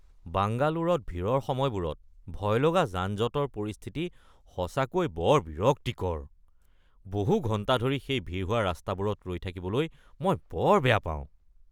বাংগালোৰত ভিৰৰ সময়বোৰত ভয়লগা যান-জঁটৰ পৰিস্থিতি সঁচাকৈ বৰ বিৰক্তিকৰ। বহু ঘণ্টা ধৰি সেই ভিৰ হোৱা ৰাস্তাবোৰত ৰৈ থাকিবলৈ মই বৰ বেয়া পাওঁ।